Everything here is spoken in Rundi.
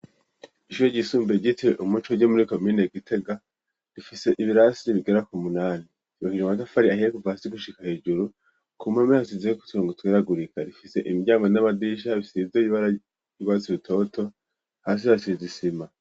Ishure ryisumbuye ryo muri komine Gitega, rifise ibirasi ribigera k'umunani, ryubakishijwe amatafari ahiye kuva hasi gushika hejuru, kumpome hasizeko uturongo tweragurika, rifise imiryango n'amadisha bisize ibara ry'urwatsi rutoto, hasi hasize isima.